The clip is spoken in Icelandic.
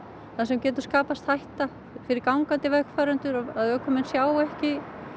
þar sem getur skapast hætta fyrir gangandi vegfarendur að ökumenn sjái ekki